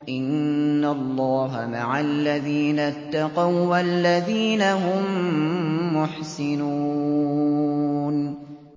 إِنَّ اللَّهَ مَعَ الَّذِينَ اتَّقَوا وَّالَّذِينَ هُم مُّحْسِنُونَ